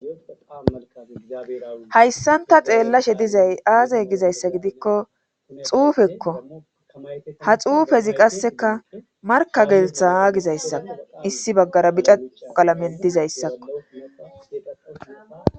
hayssan ta xeellashe dizay aazay gizayssa gidikko xuufekko ha xuufezi qasseka marka gelthaa gizayssao issi baggara bica uqalamen dizayssakko